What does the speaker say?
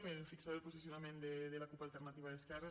per fixar el posicionament de la cup · alter·nativa d’esquerres